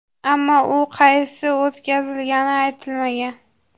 Ammo u qaysi o‘tkazilgani aytilmagan.